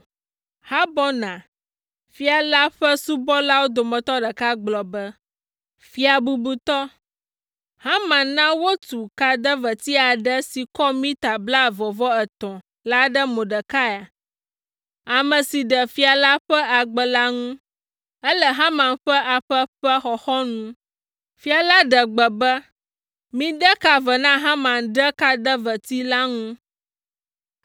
Harbona, fia la ƒe subɔlawo dometɔ ɖeka gblɔ be, “Fia bubutɔ, Haman na wotu kadeveti aɖe si kɔ mita blaeve-vɔ-etɔ̃ la ɖe Mordekai, ame si ɖe fia la ƒe agbe la ŋu, ele Haman ƒe aƒe ƒe xɔxɔnu.” Fia la ɖe gbe be, “Mide ka ve na Haman ɖe kadeveti la ŋu!”